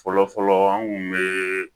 Fɔlɔfɔlɔ an kun be